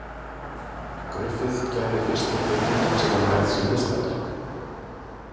Griffith gerði fyrstu kvikmyndina sem var mærð sem listaverk.